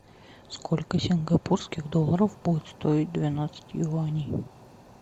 сколько сингапурских долларов будет стоить двенадцать юаней